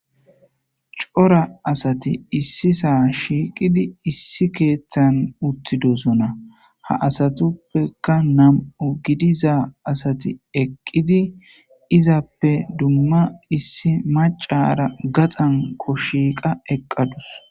Cora asati issi saa shiiqidi issi keeththan uttidosona ha asatuppeka nam7u gidiza asati eqqidi izappe dumma issi macara gaxanko shiiqa eqqadus.